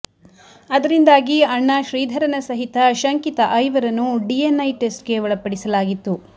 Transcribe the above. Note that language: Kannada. ಅದರಿಂದಾಗಿ ಅಣ್ಣ ಶ್ರೀಧರನ ಸಹಿತ ಶಂಕಿತ ಐವರನ್ನು ಡಿಎನ್ಐ ಟೆಸ್ಟ್ಗೆ ಒಳಪಡಿಸಲಾಗಿತ್ತು